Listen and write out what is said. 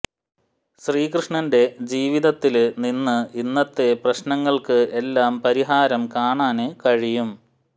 ശ്രീകൃഷ്ണന്റെ ജീവിതത്തില് നിന്ന് ഇന്നത്തെ പ്രശ്നങ്ങള്ക്ക് എല്ലാം പരിഹാരം കാണാന് കഴിയും